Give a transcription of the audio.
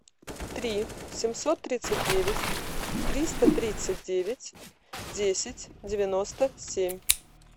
три семьсот тридцать девять триста тридцать девять десять девяносто семь